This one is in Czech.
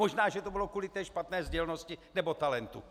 Možná, že to bylo kvůli té špatné sdělnosti nebo talentu.